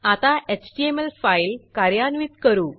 आता HTML file कार्यान्वित करू